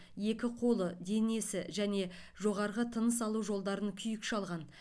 екі қолы денесі және жоғарғы тыныс алу жолдарын күйік шалған